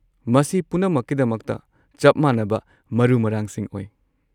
ꯃꯁꯤ ꯄꯨꯝꯅꯃꯛꯀꯤꯗꯃꯛꯇ ꯆꯞ ꯃꯥꯟꯅꯕ ꯃꯔꯨ-ꯃꯔꯥꯡꯁꯤꯡ ꯑꯣꯏ꯫